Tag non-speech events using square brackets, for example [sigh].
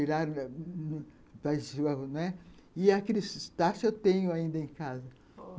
[unintelligible] E aqueles tachos eu tenho ainda em casa.